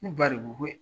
Ne ba de ko ko